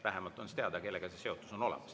Vähemalt on teada, kellega see seotus on olemas.